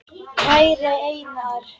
Kæri Einar.